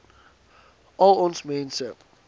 al ons mense